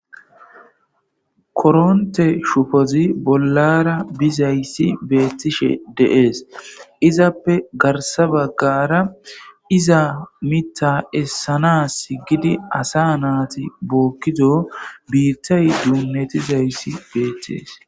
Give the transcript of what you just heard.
koronte shufozi bollara bizayssi beettishe deees izappe garsa baggara iza mita essana s gidi asa naati bookkido biittay duunnetizayssi beettees